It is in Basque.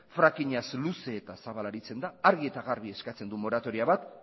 fracking az luze eta zabal aritzen da argi eta garbi eskatzen du moratoria bat